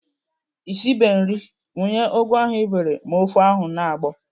Ị sibe nri, wunye ugu ahụ ị bere ma ofe ahụ na-agbọ!